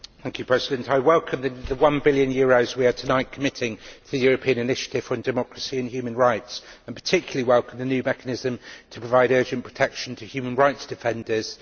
Madam President, I welcome the EUR 1 billion we are tonight committing to the European initiative for democracy and human rights, and I particularly welcome the new mechanism to provide urgent protection to human rights defenders.